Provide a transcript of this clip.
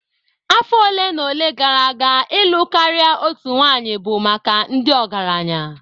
Afọ ole na ole gara aga ịlụ karịa otu nwanyị bụ maka ndị ọgaranya